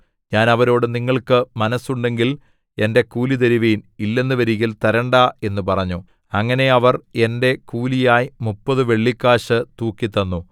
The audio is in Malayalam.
ഞാൻ അവരോട് നിങ്ങൾക്ക് മനസ്സുണ്ടെങ്കിൽ എന്റെ കൂലിതരുവിൻ ഇല്ലെന്നുവരുകിൽ തരേണ്ടാ എന്നു പറഞ്ഞു അങ്ങനെ അവർ എന്റെ കൂലിയായി മുപ്പതു വെള്ളിക്കാശ് തൂക്കിത്തന്നു